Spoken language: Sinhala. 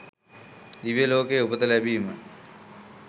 දිව්‍ය ලෝකයේ උපත ලැබීම